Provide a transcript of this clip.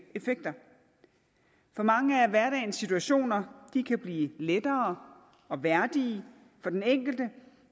effekter for mange af hverdagens situationer kan blive lettere og mere værdige for den enkelte